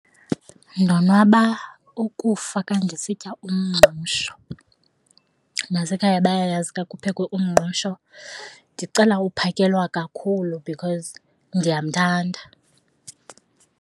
Ndonwaba ukufaka xa ndisitya umngqusho. Nasekhaya bayayazi xa kuphekwe umngqusho ndicela uphakelwa kakhulu because ndiyamthanda.